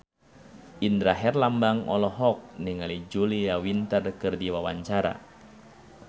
Indra Herlambang olohok ningali Julia Winter keur diwawancara